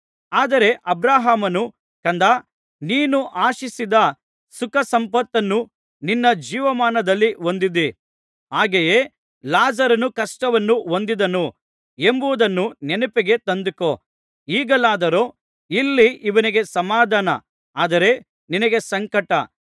ಆದರೆ ಅಬ್ರಹಾಮನು ಕಂದಾ ನೀನು ಆಶಿಸಿದ ಸುಖಸಂಪತ್ತನ್ನು ನಿನ್ನ ಜೀವಮಾನದಲ್ಲಿ ಹೊಂದಿದ್ದಿ ಹಾಗೆಯೇ ಲಾಜರನು ಕಷ್ಟವನ್ನು ಹೊಂದಿದನು ಎಂಬುದನ್ನು ನೆನಪಿಗೆ ತಂದುಕೋ ಈಗಲಾದರೋ ಇಲ್ಲಿ ಇವನಿಗೆ ಸಮಾಧಾನ ಆದರೆ ನಿನಗೆ ಸಂಕಟ